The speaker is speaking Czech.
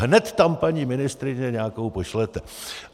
Hned tam, paní ministryně, nějakou pošlete!